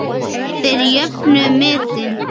Þeir jöfnuðu metin.